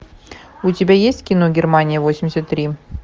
у тебя есть кино германия восемьдесят три